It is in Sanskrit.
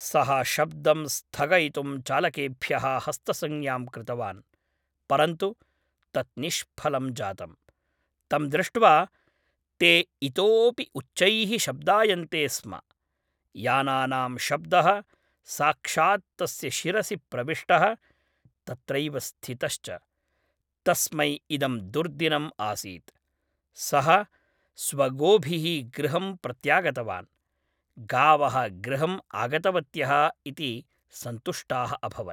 सः शब्दं स्थगयितुं चालकेभ्यः हस्तसंज्ञां कृतवान्। परन्तु तत् निष्फलं जातम्। तं दृष्ट्वा ते इतोपि उच्चैः शब्दायन्ते स्म। यानानां शब्दः साक्षात् तस्य शिरसि प्रविष्टः, तत्रैव स्थितश्च। तस्मै इदं दुर्दिनम् आसीत्। सः स्वगोभिः गृहं प्रत्यागतवान्। गावः गृहं आगतवत्यः इति सन्तुष्टाः अभवन्।